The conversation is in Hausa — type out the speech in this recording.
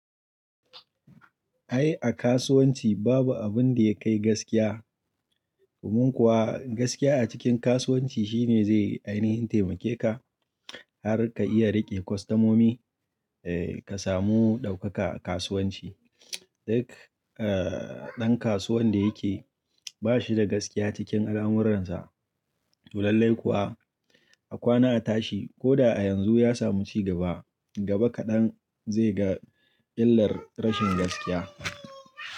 Ai a kasuwanci babu abin da ya kai gaskiya. Domun kuwa gaskiya a cikin kasuwanci shine zai ainihin taimake ka har ka iya rike kwastamomi, eh ka samu daukaka a kasuwanci. Duk, eh, dan kasuwan da yake ba shi da gaskiya cikin alamurransa, to lallai kuwa a kwana a tashi ko da a yanzu ya samu cigaba, gaba kaɗan zai ga illar rashin gaskiya.